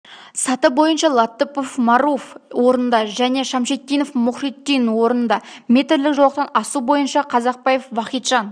саты бойынша латыпов маруф орында және шамшитдинов мухридин орында метрлік жолақтан асу бойынша казакбаев вахиджан